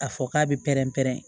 A fɔ k'a bɛ pɛrɛn-pɛrɛn